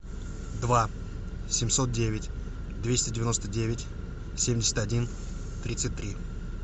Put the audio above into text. два семьсот девять двести девяносто девять семьдесят один тридцать три